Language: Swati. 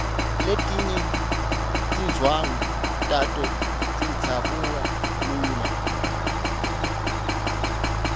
letinye tindvwangu tato tidzabuka lula